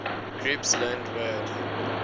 groups learned word